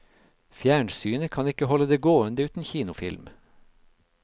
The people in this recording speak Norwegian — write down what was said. Fjernsynet kan ikke holde det gående uten kinofilm.